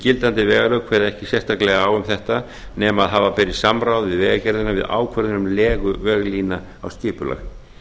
gildandi vegalög kveða ekki sérstaklega á um þetta nema að hafa beri samráð við vegagerðina við ákvörðun um legu veglína á skipulag